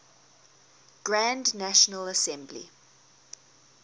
grand national assembly